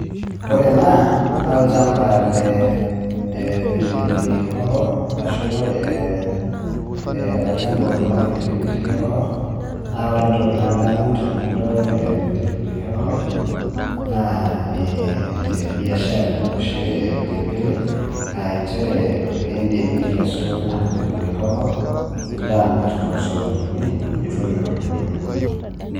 Ore ena naa olchamba lee pili pili hoho ashu olchamba otuunoki pili pili hoho naa ore entoki nadamu tenadol pili pili hoho naa ee biashara oshi e pili pili aa nchere iindim nikesu ina pili pili hoho nilo amirr toosokonini nitum iropiyiani.